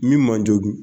Min man jo dun